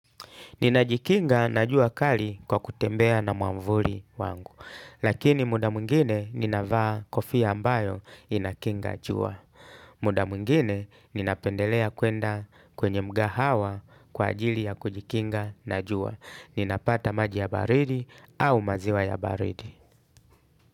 Ninajikinga na jua kali kwa kutembea na mwamvuri wangu. Lakini muda mwngine ninavaa kofia ambayo inakinga jua. Muda mwngine ninapendelea kwenda kwenye mgahawa kwa ajili ya kujikinga na jua. Ninapata maji ya baridi au maziwa ya baridi.